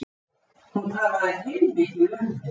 Hún talaði heilmikið um þig.